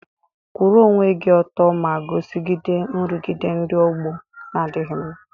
Kwụrụ onwe gị ọtọ ma guzogide nrụgide ndị ọgbọ na-adịghị mma.